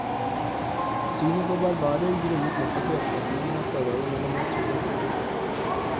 Synet på barbarer grunner nettopp i oppfatningen av forholdet mellom natur og kultur.